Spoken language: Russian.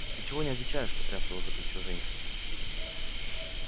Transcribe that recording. ты чего не отвечаешь потряс его за плечо женька